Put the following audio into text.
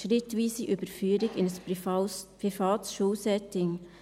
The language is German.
schrittweise Überführung in ein privates Schulsetting.